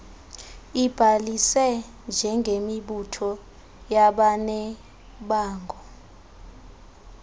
ibhalise njengemibutho yabanebango